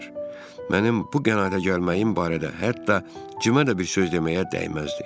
Mənim bu qənaətə gəlməyim barədə hətta cimə də bir söz deməyə dəyməzdi.